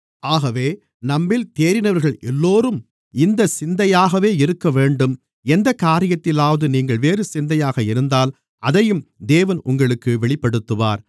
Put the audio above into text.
ஆகவே நம்மில் தேறினவர்கள் எல்லோரும் இந்தச் சிந்தையாகவே இருக்கவேண்டும் எந்தக் காரியத்திலாவது நீங்கள் வேறு சிந்தையாக இருந்தால் அதையும் தேவன் உங்களுக்கு வெளிப்படுத்துவார்